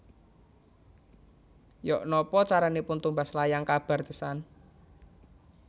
Yok nopo caranipun tumbas layang kabar The Sun